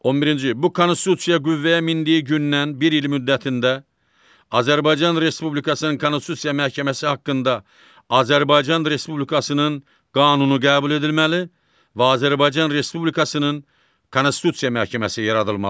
11-ci bu Konstitusiya qüvvəyə mindiyi gündən bir il müddətində Azərbaycan Respublikasının Konstitusiya Məhkəməsi haqqında Azərbaycan Respublikasının qanunu qəbul edilməli və Azərbaycan Respublikasının Konstitusiya Məhkəməsi yaradılmalıdır.